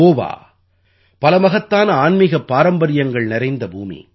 கோவா பல மகத்தான ஆன்மீகப் பாரம்பரியங்கள் நிறைந்த பூமி